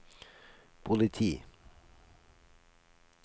politi